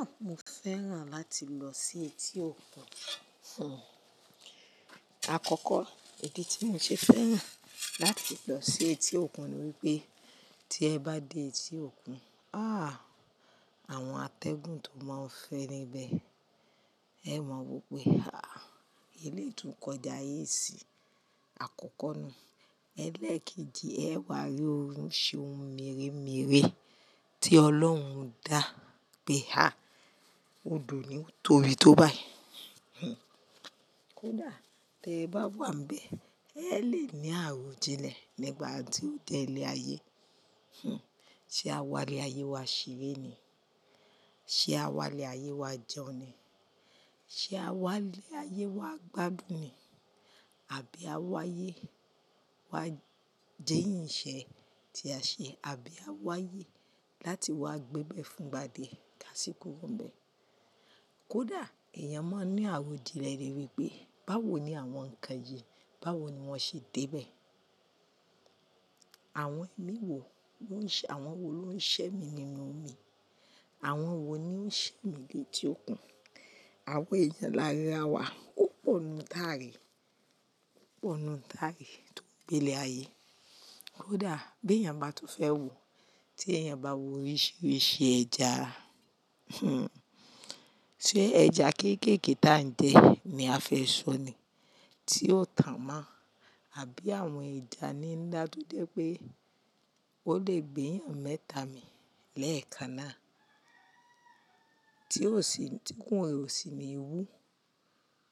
Ah, mo fẹ́ràn láti lọ sí etí òkun. Àkọ́kọ́, ìdí tí mò ń ṣe fẹ́ràn láti lọ sí etí òkun ni wípé tí ẹ bá dé etí òkun, ah, àwọn atẹ́gùn tó máa ń fẹ́ níbẹ̀, ẹ máa wope ah, eleyi tun ko idáye síi. Àkọ́kọ́ ni ẹ́ lẹ́keji ẹ wà ri oríṣi ohun mèremère tí Ọlọ́hun dá pé ha, odò ni ó torí tó báyi. Kódà tí ẹ bá wàa n be, ẹ lè ní àrojinle nígbà ti ó de ilé-ayé. Se àwa lé ayé wa ṣeere ni? Se àwa lé ayé wa jẹun ni? Se àwa lé ayé wa gbádùn ni? Àbí àwayé wa jẹ́ yìnṣẹ́ tí a ṣe àbí àwaye láti wá gbébẹ̀ fún gba díẹ̀ ká sí kúrò n bẹ̀? Kódà èèyàn máa ń ní àrojinle rere pé báwo ni àwọn nǹkan yìí, báwo ni wón ṣe dé bẹ̀? Àwọn ẹ̀mí wo lo n se-, àwọn wo ló ń ṣẹ́ mi nínú omi? Àwọn wo ni ó ń ṣẹ́ mi létí òkun? Àwọn ẹ̀yan lárira wa ó pọ̀ nù taari, ó pọ̀ nù taari tó n gbe ilé-ayé. Kódà bí èèyàn bá tún fẹ́ wò, tí èèyàn bá wo oríṣiríṣi ẹja, ṣe ẹja kéékèèké tá ń jẹ ní a fẹ́ sọ nì, tí ó tàn mọ́? Àbí àwọn ẹja nila to je pé ó lè gbé eeyàn mẹ́ta mi lẹ́ẹ̀kan náà tí kò sì ní wú,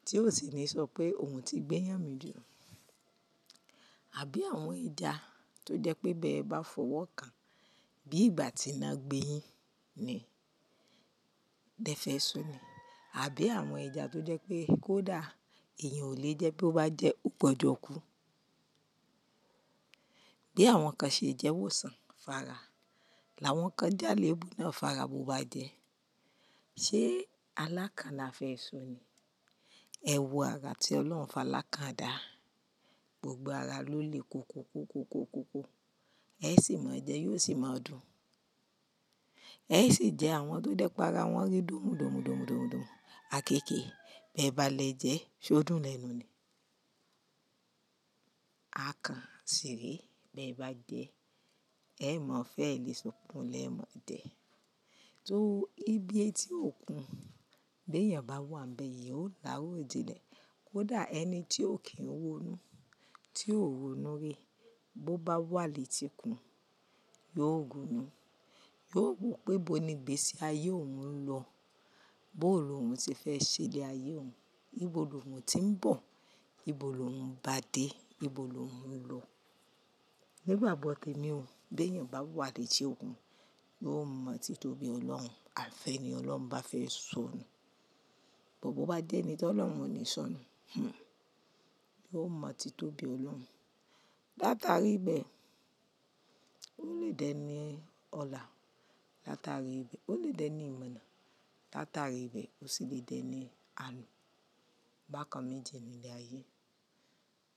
tí ò sì ní sọ pé òun ti gbéyàn mi jù. Àbí àwọn ẹja tó jẹ́ pé bí ẹ bá fọwọ́ kàn bí ìgbà tí iná gbé yín ni lẹ fẹ́ sọ nì? Àbí àwọn ẹja tó jẹ́ pé kódà èèyàn ò lè jẹ́ to bá jẹ́, ó gbọdọ̀ kú? Bí àwọn kan ṣe jẹ́ wòsàn, fara. Làwọn kan jẹ́ àlèébú náà fara bó bá jẹ. Ṣé alákanla fẹ́ sọ nì? Ẹ̀wọ̀ ara tí Ọlọ́hun falaka da. Gbogbo ara ló lè ko ko ko ko ko ko ko. Ẹ sì mọ̀ jẹ, yóò sì máa dùn. Ẹ sì jẹ àwọn tó jẹ́ pé ara wọn rí dùnmu dùnmu dùnmu dùnmu dùnmu. Àkééké bẹ bá lè jẹ, ṣé ó dùn lẹ́nu ni? A kan sì rè bí ẹ bá jẹ, ẹ mọ̀ fẹ́ lé sukùn lẹ́mọ̀ jẹ. To ibí etí òkun, bí èèyàn bá wàa n be yìí ó lá àròjinlẹ̀. Kódàẹni tí ò kí ń wònu, tí ò wònu ri, bó bá wà létíkun, yóò gunú. Yóò wò pé bó ni ìgbésí ayé òun ń lọ, bó lo òun ti fẹ́ ṣe lé ayé òun, níbo lo òun ti ń bọ̀, níbo lo òun bá dé, níbo lo òun ń lọ. Nígbàgbọ́ temi ò, bí èèyàn bá wà létí òkun, yóò mọ̀ tí tó bí Ọlọ́hun, àfẹ́ni Ọlọ́hun bá fẹ́ sọ nù. Gbogbo bá jẹ́ ẹni tí Ọlọ́hun ò ní sọ nù, yóò mọ̀ tí tó bí Ọlọ́hun. Láta rí bẹ́ẹ̀, ó lè dẹ ní ọ̀la. Láta rí bẹ́ẹ̀, ó lè dẹ ní ìmọ̀ná. Láta rí bẹ́ẹ̀, ó sì lè dẹ ní àlù. Bàkan méjì ni ilé-ayé.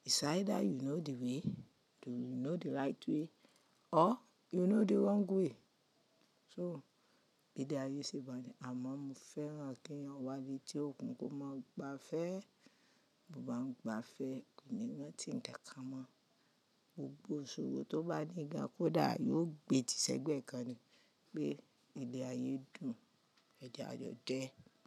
It's either you know the way, you know the right way or you know the wrong way. So ilé-ayé ṣi ba nì, àmọ́ mo fẹ́ràn kí èèyàn wà létí òkun kó mọ̀ ba fẹ́. Bo bá ń gba fẹ́ kò ní rántí ǹkan kán mọ̀. Gbogbo ìṣòro tó bá ní ga kódà yóò gbé tí sẹ́gbẹ̀ẹ́ kan ni pé ilé-ayé dùn, ẹja de jẹ.